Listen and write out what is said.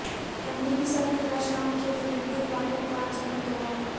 امریکی سفیر کا شام کے جنوبی علاقوں کا اچانک دورہ